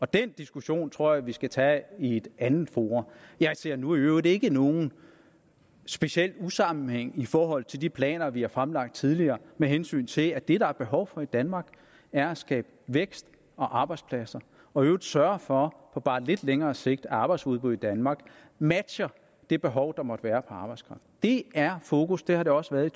den diskussion tror jeg vi skal tage i et andet forum jeg ser nu i øvrigt ikke nogen speciel usammenhæng i forhold til de planer vi har fremlagt tidligere med hensyn til at det der er behov for i danmark er at skabe vækst og arbejdspladser og i øvrigt sørge for på bare lidt længere sigt at arbejdsudbuddet i danmark matcher det behov der måtte være arbejdskraft det er fokus det har det også været i